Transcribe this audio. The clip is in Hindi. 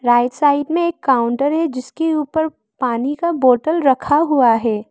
राइट साइड में एक काउंटर है जिसके ऊपर पानी का बोटल रखा हुआ है।